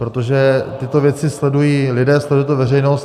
Protože tyto věci sledují lidé, sleduje to veřejnost.